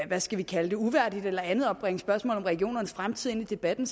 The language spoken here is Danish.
hvad skal vi kalde det uværdigt eller andet at bringe spørgsmålet om regionernes fremtid ind i debatten